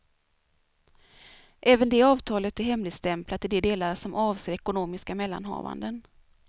Även det avtalet är hemligstämplat i de delar som avser ekonomiska mellanhavanden.